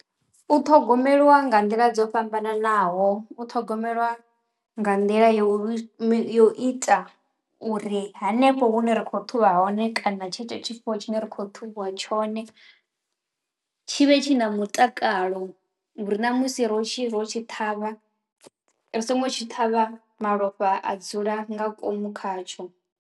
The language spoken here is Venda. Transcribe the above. U ṱhogomeliwa nga nḓila dzo fhambananaho. U ṱhogomeliwa nga nḓila yo uri yo ita uri hanefho hune ri khou ṱhuvha hone kana tshetsho tshifuwo tshine ri khou ṱhuvhiwa tshone tshi vhe tshi na mutakalo uri na musi ro tshi ro tshi ṱhavha ri songo tshi ṱhavha malofha a dzula nga ngomu khatsho.